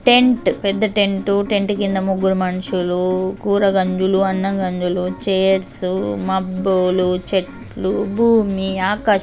Tent . పెద్ద tent . Tent కింద ముగ్గురు మనుషులు కూర గంజులు అన్నం గంజులు చైర్స్ మబ్బులు చెట్లు భూమి ఆకాశం.